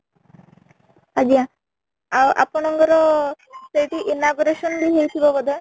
ଆଜ୍ଞା, ଆଉ ଆପଣଙ୍କର ସେଠି inauguration ବି ହେଇ ଥିବ ବୋଧେ ?